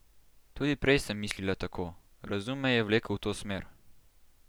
Tudi prej sem mislila tako, razum me je vlekel v to smer.